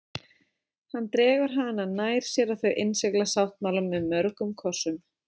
Hann dregur hana nær sér og þau innsigla sáttmálann með mörgum kossum.